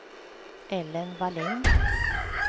Ellen Wallin